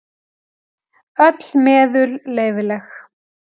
Öll meðul leyfileg.